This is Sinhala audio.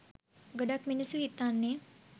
ගොඩක් මිනිස්සු හිතන්නේ